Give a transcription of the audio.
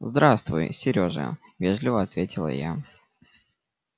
здравствуй серёжа вежливо ответила я